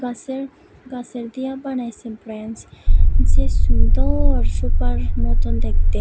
গাছের গাছের দিয়া বানাইসে ব্রেঞ্চ যে সুন্দর সোফার মতন দেখতে।